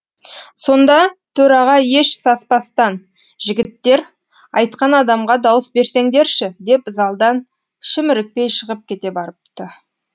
сонда төраға еш саспастан жігіттер айтқан адамға дауыс берсеңдерші деп залдан шімірікпей шығып кете барыпты